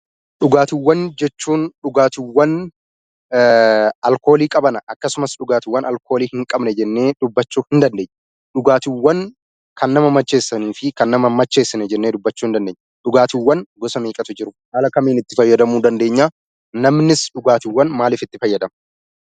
Dhugaatiiwwan jechuun dhugaatii alkoolii qabanii fi alkoolii hin qabne jennee dubbachuu ni dandeenya. Dhugaatiiwwan nama macheessanii fi hin macheessinee jennee dubbachuu ni dandeenya. Dhugaatiiwwan gosa meeqatu Jira? Haala kamiin immoo itti fayyadamuu dandeenya? Namni maalif dhugaatii fayyadama?